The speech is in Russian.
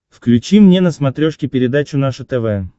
включи мне на смотрешке передачу наше тв